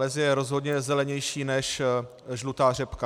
Les je rozhodně zelenější než žlutá řepka.